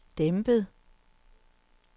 dæmpet